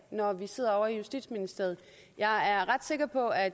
når vi sidder ovre i justitsministeriet jeg er ret sikker på at